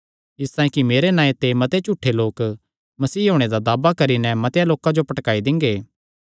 इसतांई कि मेरे नांऐ ते मते झूठे लोक मसीह होणे दा दावा करी नैं मतेआं लोकां जो भटकाई दिंगे